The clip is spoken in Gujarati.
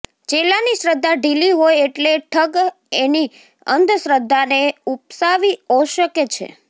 ચેલાની શ્રદ્ધા ઢીલી હોય એટલે ઠગ એની અંધશ્રદ્ધાને ઊપસાવી ઔશકે છે